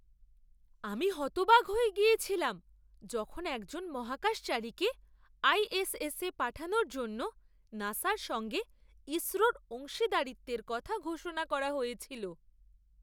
আমি হতবাক হয়ে গিয়েছিলাম যখন একজন মহাকাশচারীকে আইএসএস এ পাঠানোর জন্য নাসার সঙ্গে ইসরোর অংশীদারিত্বের কথা ঘোষণা করা হয়েছিল!